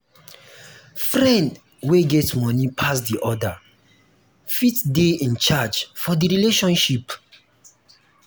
friend wey get money pass di other fit de in charge for the friendship